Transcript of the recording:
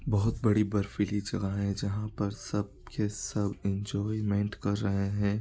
बहोत बड़ी बर्फीली जगह हैजहाँ पर सब के सब एन्जॉयमेंट कर रहे हैं।